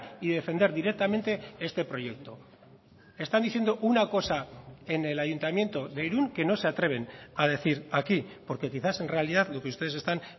y defender directamente este proyecto están diciendo una cosa en el ayuntamiento de irún que no se atreven a decir aquí porque quizás en realidad lo que ustedes están